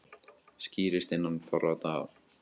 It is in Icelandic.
Skýrist innan fárra daga